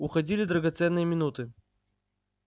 уходили драгоценные минуты